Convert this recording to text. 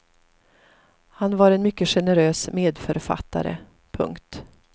Han var en mycket generös medförfattare. punkt